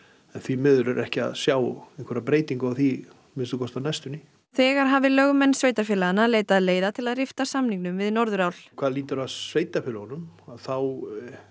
því miður er ekki að sjá einhverja breytingu á því að minnsta kosti á næstunni þegar hafi lögmenn sveitarfélaganna leitað leiða til að rifta samningunum við Norðurál hvað lýtur að sveitarfélögum þá